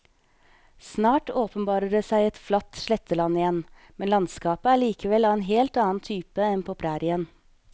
Snart åpenbarer det seg et flatt sletteland igjen, men landskapet er likevel av en helt annen type enn på prærien.